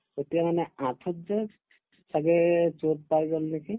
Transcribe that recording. তেতিয়ামানে আঠুত যে ছাগে shot পাই গল নেকি ?